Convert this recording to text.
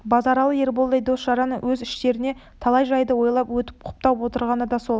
базаралы ерболдай дос-жаранның өз іштерінде талай жайды ойлап өтіп құптап отырғаны да сол